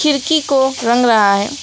खिड़की को रंग रहा है।